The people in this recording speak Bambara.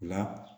La